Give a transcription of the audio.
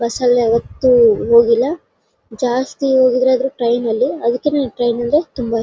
bus ಅಲ್ಲಿ ಯಾವತ್ತು ಹೋಗಿಲ್ಲಾ ಜಾಸ್ತಿ ಹೋಗೋದಾದ್ರೆ ಟ್ರೈನ್ ನಲ್ಲಿ ಅದಕ್ಕೆ ನಾನ್ ಟ್ರೈನ್ ನಲ್ಲಿ ತುಂಬಾ ಇ--